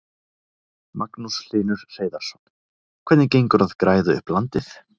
Magnús Hlynur Hreiðarsson: Hvernig gengur að græða upp landið?